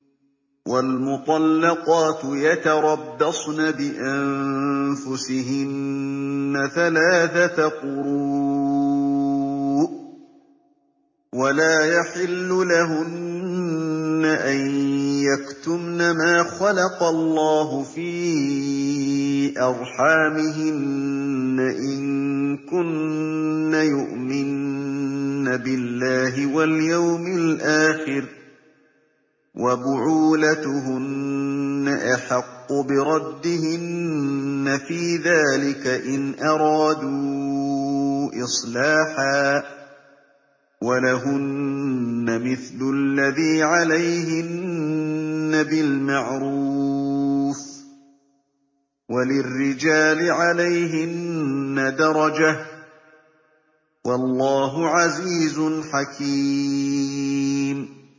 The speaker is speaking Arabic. وَالْمُطَلَّقَاتُ يَتَرَبَّصْنَ بِأَنفُسِهِنَّ ثَلَاثَةَ قُرُوءٍ ۚ وَلَا يَحِلُّ لَهُنَّ أَن يَكْتُمْنَ مَا خَلَقَ اللَّهُ فِي أَرْحَامِهِنَّ إِن كُنَّ يُؤْمِنَّ بِاللَّهِ وَالْيَوْمِ الْآخِرِ ۚ وَبُعُولَتُهُنَّ أَحَقُّ بِرَدِّهِنَّ فِي ذَٰلِكَ إِنْ أَرَادُوا إِصْلَاحًا ۚ وَلَهُنَّ مِثْلُ الَّذِي عَلَيْهِنَّ بِالْمَعْرُوفِ ۚ وَلِلرِّجَالِ عَلَيْهِنَّ دَرَجَةٌ ۗ وَاللَّهُ عَزِيزٌ حَكِيمٌ